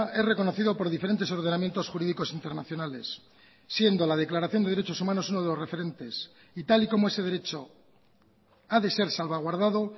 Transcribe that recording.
es reconocido por diferentes ordenamientos jurídicos internacionales siendo la declaración de derechos humanos uno de los referentes y tal y como ese derecho ha de ser salvaguardado